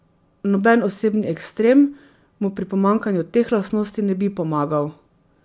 Noben osebnostni ekstrem mu pri pomanjkanju teh lastnosti ne bi pomagal.